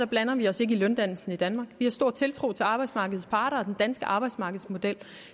blander vi os ikke i løndannelsen i danmark vi har stor tiltro til arbejdsmarkedets parter og den danske arbejdsmarkedsmodel